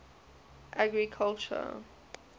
agriculture